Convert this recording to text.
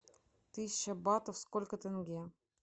тысяча батов сколько тенге